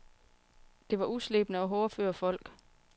Det var uslebne og hårdføre folk.